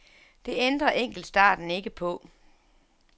Det ændrer enkeltstarten ikke på.